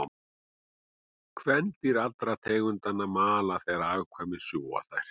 Kvendýr allra tegundanna mala þegar afkvæmin sjúga þær.